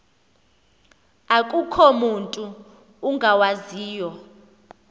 akukho mutu ungawaziyo